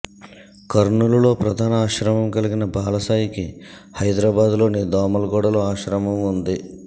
కర్నూలులో ప్రధాన ఆశ్రమం కలిగిన బాలసాయికి హైదరాబాద్లోని దోమల్గూడలో ఆశ్రమం ఉంది